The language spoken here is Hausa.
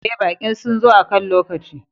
Eh, baƙi sun zo akan lokaci.